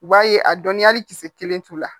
U b'a ye a dɔnniya hali kisɛ kelen t'u la